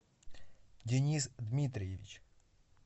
денис дмитриевич